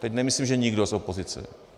Teď nemyslím, že nikdo z opozice.